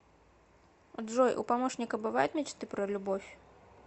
джой у помощника бывают мечты про любовь